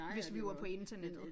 Hvis vi var på internettet